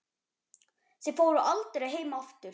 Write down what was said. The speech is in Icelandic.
Þið fóruð aldrei heim aftur.